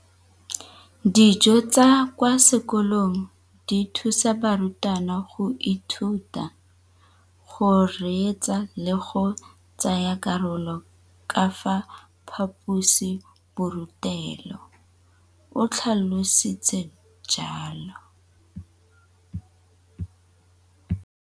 Dijo tsa kwa sekolong dithusa barutwana go ithuta, go reetsa le go tsaya karolo ka fa phaposiborutelong, o tlhalositse jalo.